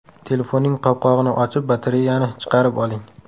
Telefonning qopqog‘ini ochib, batareyani chiqarib oling.